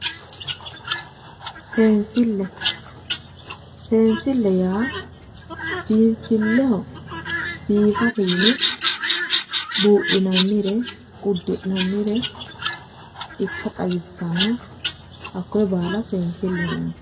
Seensille yaa biinfilleho biifate yine buudhinannire uddi'nannire ikka xawissanno hakkoyee baala seensileho yinanni